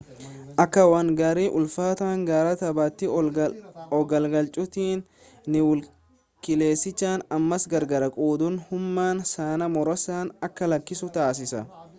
akka waan gaarii ulfaataa gara tabbaatti ol gangalchuuti niwuukileesicha ammas gargar qooduun humna sana muraasa akka lakkisu taasisa